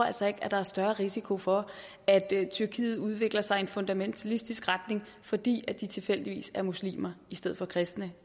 altså ikke at der er større risiko for at tyrkiet udvikler sig i en fundamentalistisk retning fordi de tilfældigvis er muslimer i stedet for kristne